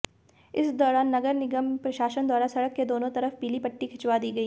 इस दौरान नगर निगम प्रशासन द्वारा सड़क के दोनों तरफ पीली पट्टी खिंचवा दी गई